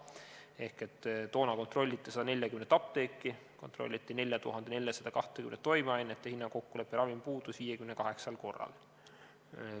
Ehk toona kontrolliti 140 apteeki ja 4420 toimeainet ning hinnakokkulepperavim puudus 58 korral.